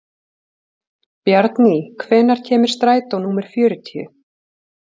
Bjarný, hvenær kemur strætó númer fjörutíu?